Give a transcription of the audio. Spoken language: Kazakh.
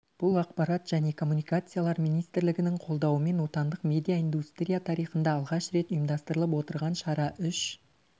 бұл ақпарат және коммуникациялар министрлігінің қолдауымен отандық медиа индустрия тарихында алғаш рет ұйымдастырылып отырған шара үш